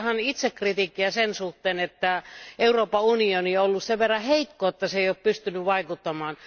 Kyllä tämä on itsekritiikkiä sen suhteen, että Euroopan unioni on ollut sen verran heikko, että se ei ole pystynyt vaikuttamaan.